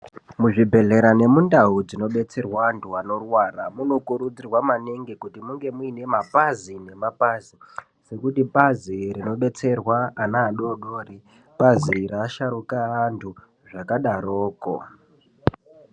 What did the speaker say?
Muzvibhedhleya nemundau munobetserwa anthu anorwara maningi kuti munge mune mapazi nemapazi ekuti pazi rinodetserwa ana adoko nerinodetserwa asharuka zvakadaroko.